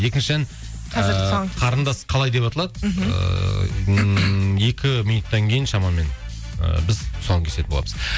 екінші ән қарындас қалай деп аталады мхм ііі ммм екі минуттан кейін шамамен ыыы біз тұсауын кесетін боламыз